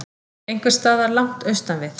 Einhversstaðar langt austan við